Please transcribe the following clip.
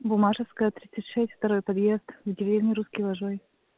буммашевская тридцать шесть второй подъезд в деревне русский вожой